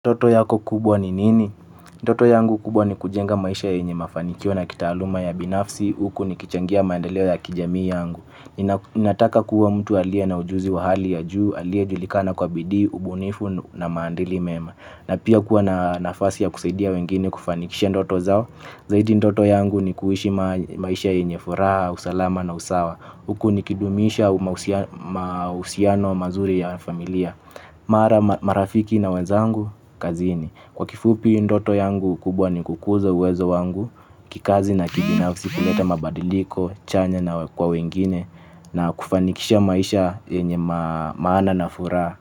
Ndoto yako kubwa ni nini? Ndoto yangu kubwa ni kujenga maisha yenye mafanikio na kitaaluma ya binafsi. Huku nikichangia maendeleo ya kijamii yangu. Nataka kuwa mtu aliye na ujuzi wa hali ya juu. Aliyejulikana kwa bidii, ubunifu na maadili mema. Na pia kuwa na nafasi ya kusaidia wengine kufanikishia ndoto zao. Zaidi, ndoto yangu ni kuishi maisha yenye furaha, usalama na usawa. Huku nikidumisha mahusiano mazuri ya familia. Marafiki na wenzangu kazini. Kwa kifupi ndoto yangu kubwa ni kukuza uwezo wangu, kikazi na kibinafsi kuleta mabadiliko chanya na kwa wengine na kufanikisha maisha yenye maana na furaha.